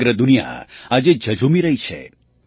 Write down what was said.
સમગ્ર દુનિયા આજે ઝઝૂમી રહી છે